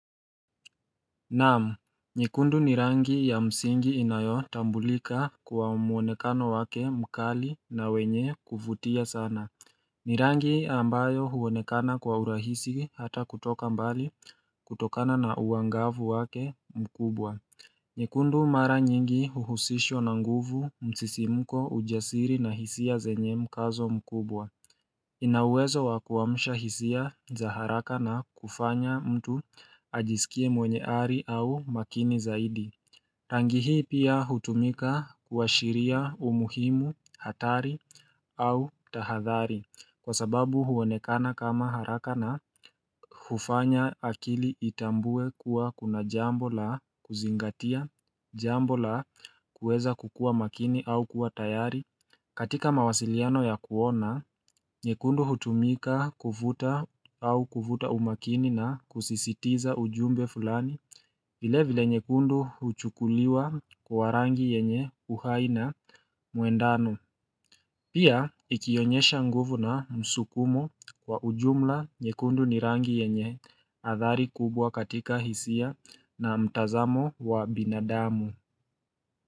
Naam, nyekundu ni rangi ya msingi inayotambulika kwa muonekano wake mkali na wenye kuvutia sana ni rangi ambayo huonekana kwa urahisi hata kutoka mbali kutokana na uangavu wake mkubwa nyekundu mara nyingi uhusishwa na nguvu msisimko ujasiri na hisia zenye mkazo mkubwa ina uwezo wa kuamsha hisia za haraka na kufanya mtu ajisikie mwenye ari au makini zaidi. Rangi hii pia hutumika kuashiria umuhimu hatari au tahadhari kwa sababu huonekana kama haraka na hufanya akili itambue kuwa kuna jambo la kuzingatia, jambo la kuweza kukua makini au kuwa tayari. Katika mawasiliano ya kuona, nyekundu hutumika kuvuta au kuvuta umakini na kusisitiza ujumbe fulani vile vile nyekundu huchukuliwa kuwa rangi yenye uhai na muendano Pia ikionyesha nguvu na msukumo kwa ujumla nyekundu ni rangi yenye athari kubwa katika hisia na mtazamo wa binadamu.